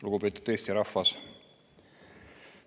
Lugupeetud Eesti rahvas!